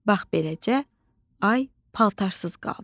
Bax beləcə, ay paltarsız qaldı.